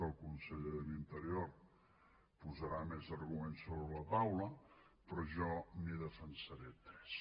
el conseller de l’interior posarà més arguments sobre la taula però jo en defensaré tres